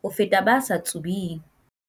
ho feta ba sa tsubeng."